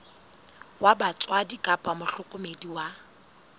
wa batswadi kapa mohlokomedi wa